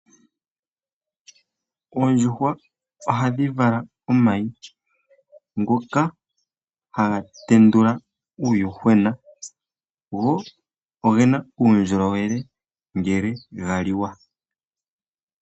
Oondjuhwa ohadhi vala omayi ngoka haga tendula uuyuhwena, go ogena uundjolowele ngele ga liwa.